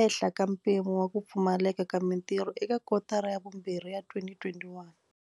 ehla ka mpimo wa ku pfumaleka ka mitirho eka kotara ya vumbirhi ya 2021.